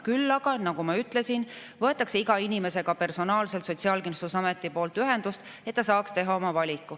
Küll aga, nagu ma ütlesin, võetakse iga inimesega Sotsiaalkindlustusametist personaalselt ühendust, et inimene saaks teha oma valiku.